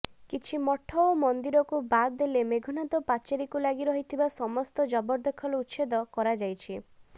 କିଛି ମଠ ଓ ମନ୍ଦିରକୁ ବାଦ ଦେଲେ ମେଘନାଦ ପାଚେରୀକୁ ଲାଗି ରହିଥିବା ସମସ୍ତ ଜବରଦଖଲ ଉଛେଦ କରାଯାଇଛି